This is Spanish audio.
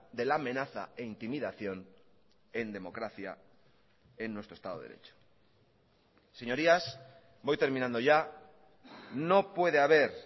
de la amenaza e intimidación en democracia en nuestro estado de derecho señorías voy terminando ya no puede haber